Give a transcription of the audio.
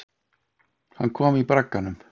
Hann kom í bragganum.